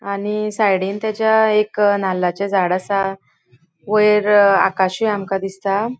आणि साइडीन ताज्या एक नाल्लाचे झाड असा वैर आकाशूय आमका दिसता.